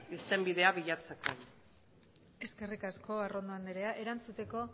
irtenbidea bilatzeko eskerrik asko arrondo andrea erantzuteko